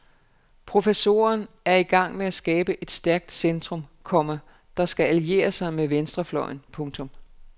Professoren er i gang med at skabe et stærkt centrum, komma der skal alliere sig med venstrefløjen. punktum